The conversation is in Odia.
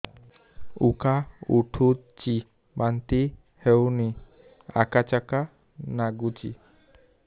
ଉକା ଉଠୁଚି ବାନ୍ତି ହଉନି ଆକାଚାକା ନାଗୁଚି